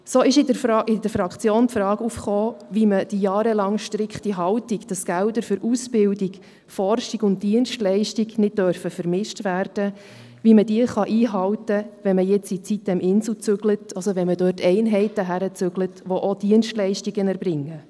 So kam in der Fraktion die Frage auf, wie man die jahrelange, strikte Haltung, wonach Gelder für Ausbildung, Forschung und Dienstleistung nicht vermischt werden dürfen, einhalten kann, wenn man jetzt in die sitem-insel einzieht und dort Einheiten hinbringt, welche auch Dienstleistungen erbringen.